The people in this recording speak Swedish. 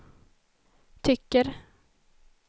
tycker